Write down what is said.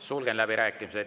Sulgen läbirääkimised.